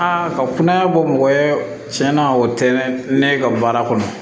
Aa ka kunnaya bɔ mɔgɔ ye tiɲɛna o tɛ ne ka baara kɔnɔ